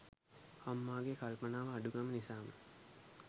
අම්මාගේ කල්පනාව අඩුකම නිසාම